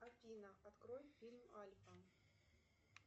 афина открой фильм альфа